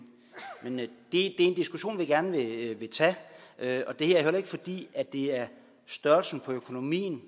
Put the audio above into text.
og det er en diskussion vi gerne vil tage og her er det heller ikke fordi det er størrelsen af økonomien